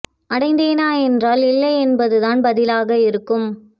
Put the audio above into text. அடைந்தேனா என்றால் இல்லை என்பது தான் பதிலாக இருக்கும்